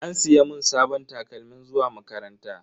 An siya mun sabon takalmin zuwa makaranta.